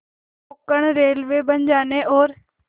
Konkan Railway बन जाने और